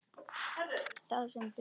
Það sem beið.